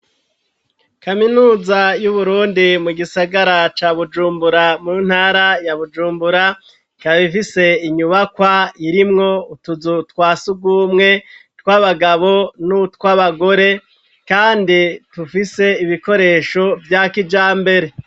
Kaminuza y'uburundi mu gisagara ca bujumbura mu ntara ya bujumbura, ikaba ifise inyubakwa irimwo utuzu twasugumwe tw'abagabo n'utw'abagore kandi tufise ibikoresho byakijambere.